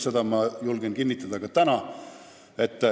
Seda ma julgen ka täna kinnitada.